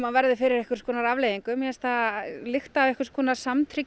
hann verði fyrir einhvers konar afleiðingum mér finnst það lykta af einhvers konar